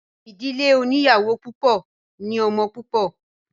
Ìdílé oníyàwó púpọ̀ ní ọmọ púpọ̀.